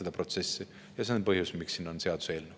Ja see on põhjus, miks siin on see seaduseelnõu.